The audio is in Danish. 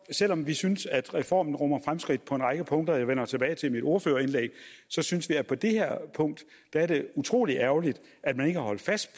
selv om vi synes at reformen rummer fremskridt på en række punkter jeg vender tilbage til dem i mit ordførerindlæg synes vi at på det her punkt er det utrolig ærgerligt at man ikke har holdt fast